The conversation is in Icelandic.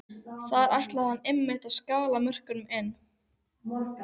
Þar ætlaði hann einmitt að salla mörkunum inn!